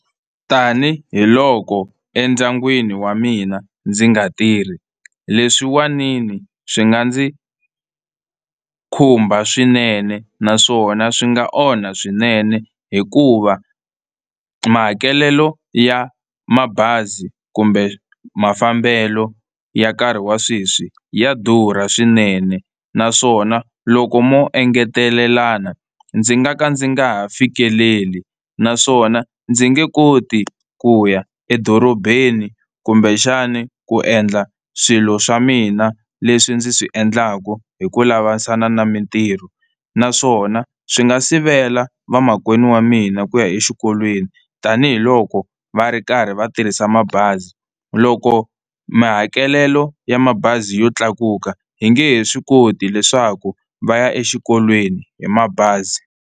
Tanihiloko endyangwini wa mina ndzi nga tirhi leswiwanini swi nga ndzi khumba swinene, naswona swi nga onha swinene hikuva mahakelelo ya mabazi kumbe mafambelo ya nkarhi wa sweswi ya durha swinene, naswona loko mo engetelelana ndzi nga ka ndzi nga ha fikeleli, naswona ndzi nge koti ku ya edorobeni kumbexani ku endla swilo swa mina leswi ndzi swi endlaka hi ku lavalavana na mitirho. Naswona swi nga sivela vamakwenu wa mina ku ya exikolweni tanihiloko va ri karhi va tirhisa mabazi loko mahakelelo ya mabazi yo tlakuka hi nge he swi koti leswaku va ya exikolweni hi mabazi.